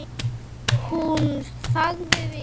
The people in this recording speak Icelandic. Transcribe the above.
Hún þagði við.